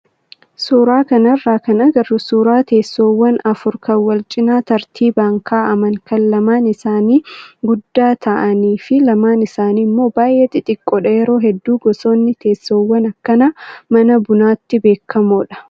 Suuraa kanarraa kan agarru suuraa teessoowwan afur kan walcinaa tartiibaan kaa'aman kan lamaan isaanii guddaa ta'anii fi lamaan isaanii immoo baay'ee xixiqqoodha. Yeroo hedduu gosoonni teessoowwan akkanaa mana bunaatti beekamoodha.